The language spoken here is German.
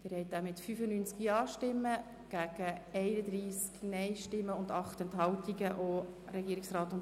Sie haben den Artikel 55 Absatz 2 mit 95 Ja- zu 31 Nein-Stimmen bei 8 Enthaltungen angenommen.